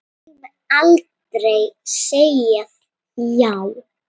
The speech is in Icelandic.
Ég mun aldrei segja já.